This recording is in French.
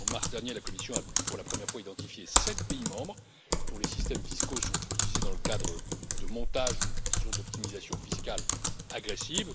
En mars dernier, la Commission a, pour la première fois, identifié sept pays membres dont les systèmes fiscaux sont utilisés dans le cadre de montages, disons, d'optimisation fiscale agressive.